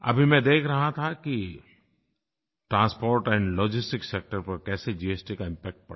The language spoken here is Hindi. अभी मैं देख रहा था कि ट्रांसपोर्ट एंड लॉजिस्टिक्स सेक्टर पर कैसे जीएसटी का इम्पैक्ट पड़ा